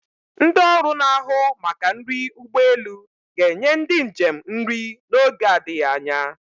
Ndị ọrụ na-ahụ maka nri ụgbọelu ga-enye ndị njem nri n'oge adịghị anya.